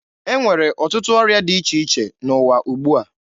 E nwere ọtụtụ ọrịa dị iche iche n'ụwa ugbua.